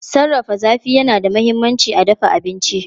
Sarrafa zafi yana da mahimmanci a dafa abinci.